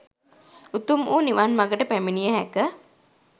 උතුම් වූ නිවන් මඟට පැමිණිය හැක.